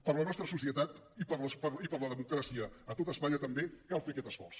per la nostra societat i per la democràcia a tot espanya també cal fer aquest esforç